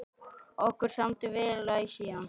Okkur samdi vel æ síðan.